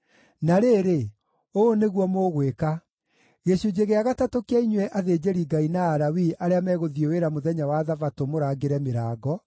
Na rĩrĩ, ũũ nĩguo mũgwĩka: Gĩcunjĩ gĩa gatatũ kĩa inyuĩ athĩnjĩri-Ngai na Alawii arĩa megũthiĩ wĩra mũthenya wa Thabatũ mũrangĩre mĩrango,